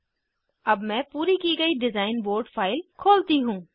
अब मैं पूरी की गयी डिज़ाइन बोर्ड फाइल खोलती हूँ